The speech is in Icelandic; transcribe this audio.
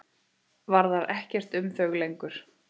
Varðar ekkert um þau lengur.